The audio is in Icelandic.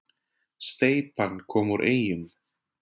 Steypan kom úr Eyjum